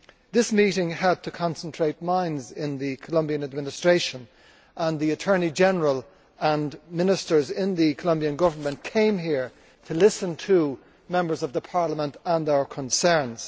This meeting helped to concentrate minds in the Colombian administration, and the Attorney General and ministers in the Colombian Government came here to listen to us Members of Parliament and our concerns.